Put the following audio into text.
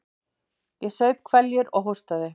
Ég saup hveljur og hóstaði.